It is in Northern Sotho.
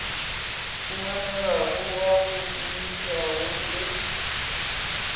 humanegago wa go šomišega le